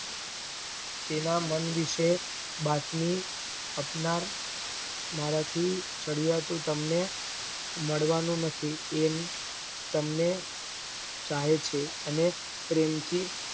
તેના મન વિષય બાતમી આપનાર મારાથી ચડ્યાતું તમને મળવાનું નથી એમ તમને ચાહે છે એને પ્રેમ થી